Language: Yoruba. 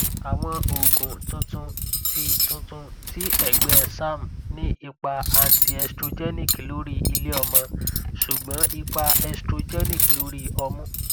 awọn oogun tuntun ti tuntun ti ẹgbẹ serm ni ipa antiestrogenic lori ileọmọ ṣugbọn ipa estrogenic lori ọmu